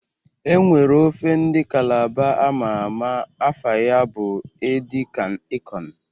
E nwere ofe ndị Kalaba ama ama, afa ya bụ edi kan ịkọn